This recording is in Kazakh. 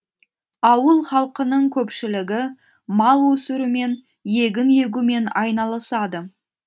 ауыл халқының көпшілігі мал өсірумен егін егумен айналысады